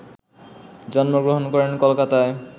জন্মগ্রহণ করেন কলকাতায়